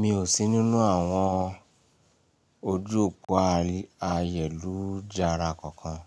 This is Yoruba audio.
Mi ò sí nínú àwọn ojú òpó ayẹ̀lújàara kankan.